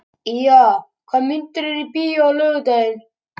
Ýja, hvaða myndir eru í bíó á laugardaginn?